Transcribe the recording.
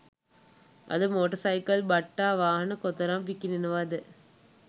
අද motorcycle බට්ටා වාහන කොතරම් විකිණෙනවද